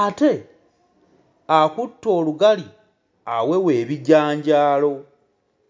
ate akutte olugali awewa ebijanjaalo.